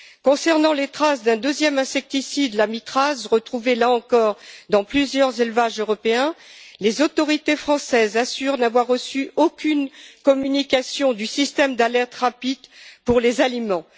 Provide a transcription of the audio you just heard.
Concernant les traces d'un deuxième insecticide l'amitraze retrouvé, là encore, dans plusieurs élevages européens, les autorités françaises assurent n'avoir reçu aucune communication du système d'alerte rapide pour les aliments.